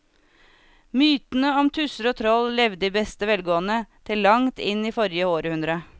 Mytene om tusser og troll levde i beste velgående til langt inn i forrige århundre.